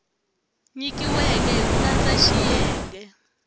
nyikiweke hi ku landza xiyenge